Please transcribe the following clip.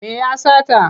Me ya sata?